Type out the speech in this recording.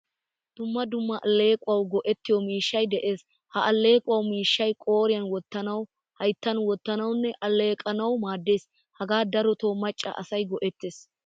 Dumma dumma allequwawu go'ettiyo miishshay de'ees. Ha allequwaa miishshay qooriyan wottanawu, hayttan wottanawunne alleeqanawu maadees. Hagaa daroto macca asay go'ettees.